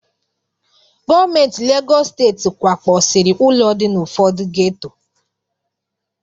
Gọọmenti Legọs Steeti kwakpọsiri ụlọ dị na ụfọdụ geto.